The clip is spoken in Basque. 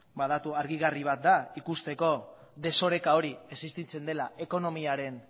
datu argigarri bat da ikusteko desoreka hori existitzen dela ekonomiaren